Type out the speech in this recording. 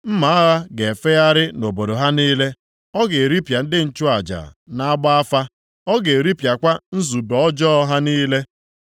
Mma agha ga-efegharị nʼobodo ha niile, ọ ga-eripịa ndị nchụaja na-agba afa, ọ ga-eripịakwa nzube ọjọọ ha niile.